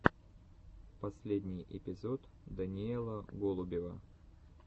последний эпизод даниэла голубева